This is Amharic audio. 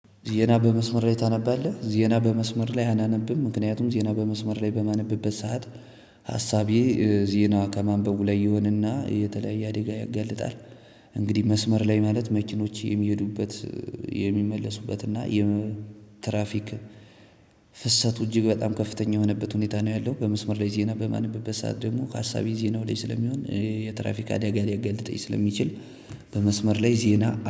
ዜና በመስመር ላይ ታነባለህ? ዜና በመስመር ላይ አላነብም። ምክንያቱም ዜና በመስመር ላይ በማነብበት ሰዓት ሀሳቤ ዜና ከማንበቡ ላይ ይሆንና የተለያየ አደጋ ያጋልጣል። እንግዲህ መስመር ላይ ማለት መኪኖች የሚሄዱበት የሚመለሱበት እና የትራፊክ ፍሰቱ እጅግ በጣም ከፍተኛ የሆነበት ሁኔታ ነው ያለው። በመስመር ላይ ዜና በማነብበት ሰዓት ደግሞ ሀሳቤ ዜናው ላይ ስለሚሆን የትራፊክ አደጋ ሊያጋልጠኝስለሚችል። በመስመር ላይ ዜና